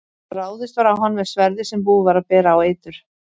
Ráðist var á hann með sverði sem búið var að bera á eitur.